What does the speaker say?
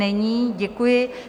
Není, děkuji.